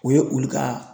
O ye olu ka